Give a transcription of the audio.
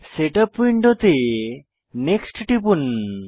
setup উইন্ডোতে next টিপুন